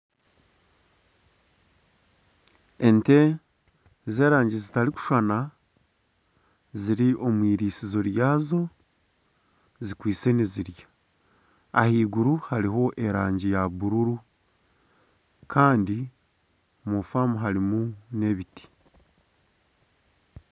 Ente zerangi zitarikushushana ziri omu irisizo ryazo zikwitse nizirya ahaiguru hariho erangi ya bururu Kandi omu famu harimu n'ebiti.